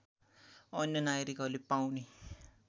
अन्य नागरिकहरूले पाउने